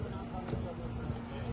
Anhanı çıxardın, sonra çıxarın.